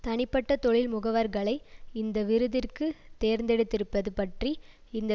தனிப்பட்ட தொழில் முகவர்களை இந்த விருதிற்கு தேர்ந்தெடுத்திருப்பது பற்றி இந்த